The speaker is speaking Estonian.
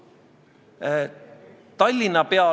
Kuidas teistes riikides need süsteemid on üles ehitatud?